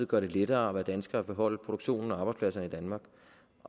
gøre det lettere at være dansker og beholde produktion og arbejdspladser i danmark